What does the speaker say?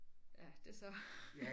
Ja det så